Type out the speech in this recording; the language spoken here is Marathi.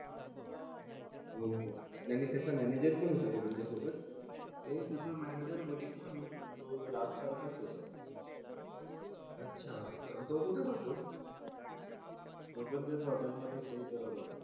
हो हो आणि त्याचा मॅनेजर पण तुमच्या सोबत. हो त्याचा मॅनेजर. बघितलं मी. तो राज सारखंच होतं. अच्छा तो कुठे राहतो? तो पण त्याच हॉटेल मध्येच हे करत होता.